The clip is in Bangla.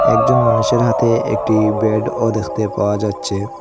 একজন মানুষের হাতে একটি ব্যাডও দেখতে পাওয়া যাচ্ছে।